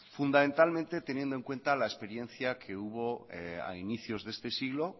fundamentalmente teniendo en cuenta la experiencia que hubo a inicios de este siglo